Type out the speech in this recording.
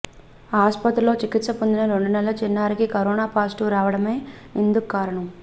ఆస్పత్రిలో చికిత్స పొందిన రెండు నెలల చిన్నారికి కరోనా పాజిటివ్ రావడమే ఇందుక్కారణం